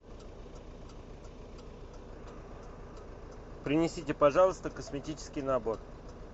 принесите пожалуйста косметический набор